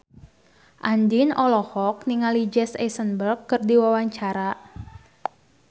Andien olohok ningali Jesse Eisenberg keur diwawancara